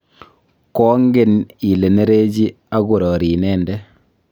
koangen ile nerechi aku rori inende